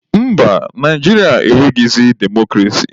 Mba, Naijiria enweghịzị demokrasi.